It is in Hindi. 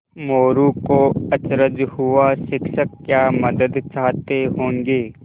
मोरू को अचरज हुआ शिक्षक क्या मदद चाहते होंगे